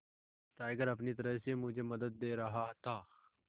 tiger अपनी तरह से मुझे मदद दे रहा था